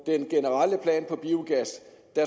den generelle plan for biogas